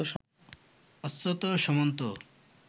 Achyuta Samanta